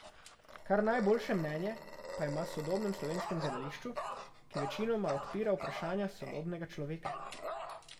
Kar najboljše mnenje pa ima o sodobnem slovenskem gledališču, ki večinoma odpira vprašanja sodobnega človeka.